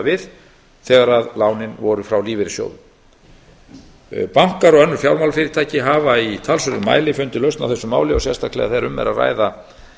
við þegar lánin voru frá lífeyrissjóðum bankar og önnur fjármálafyrirtæki hafa í talsverðum mæli fundið lausn á þessu máli og sérstaklega þegar um er að ræða